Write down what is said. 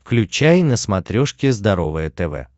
включай на смотрешке здоровое тв